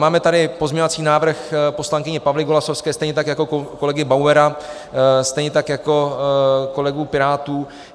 Máme tady pozměňovací návrh poslankyně Pavly Golasowské, stejně tak jako kolegy Bauera, stejně tak jako kolegů pirátů.